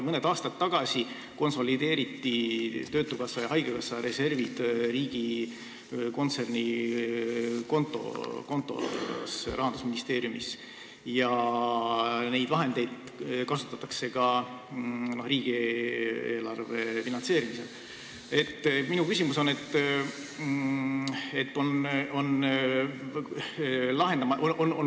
Mõni aasta tagasi konsolideeriti töötukassa ja haigekassa reservid riigi kontsernikontole Rahandusministeeriumis ja neid vahendeid kasutatakse ka riigieelarve finantseerimisel.